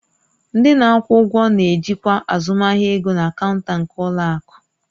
Ndị na-akwụ ụgwọ na-ejikwa azụmahịa ego na kaunta nke ụlọ akụ